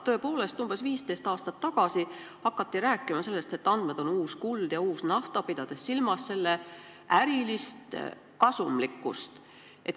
Tõepoolest, umbes 15 aastat tagasi hakati rääkima sellest, et andmed on uus kuld ja uus nafta, pidades silmas ärilist kasumlikkust.